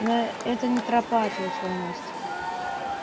но это не тропа ответила настя